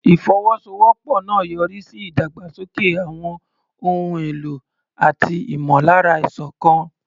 Ìfọwọ́sowọ́pọ̀ náà yọrí sí ìdàgbàsókè àwọn ohun èlò àti ìmọ̀lára ìṣọ̀kan.